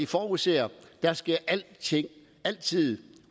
forudser der sker altid altid